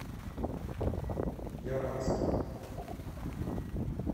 яранске